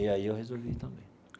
E aí eu resolvi ir também.